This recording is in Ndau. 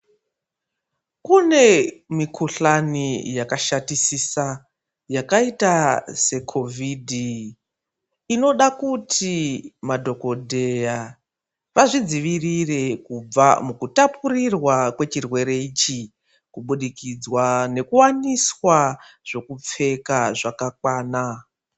Kune mikuhlani yakashatisisa yakaita seCOVID inoda kuti madhokodheya vazvidzivirire kubva mukutapurirwa kwechirwere ichi kubudikidzwa ngekuwaniswa zvekupfeka zvakakwana.